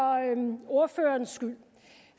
ordførerens skyld